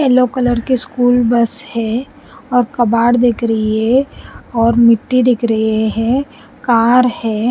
Yellow colour की school bus है और कबाड़ दिख रही है और मिट्टी दिख रही है कार है। --